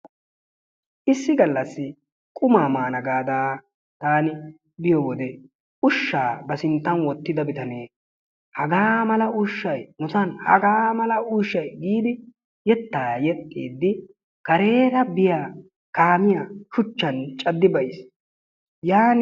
Issi galassi qumaa maana gaada taani biyo wode ushshaa ba sinttan wotida bitanee hagaa mala ushshay nusan hagaa mala ushay giidi yetaa yexxiidi kareera biya kaamiya shuchchan cadi bayiis. yaanin